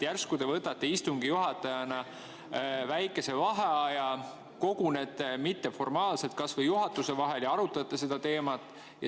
Järsku te võtate istungi juhatajana väikese vaheaja, et koguneks mitteformaalselt kas või juhatus, ja arutate seda teemat.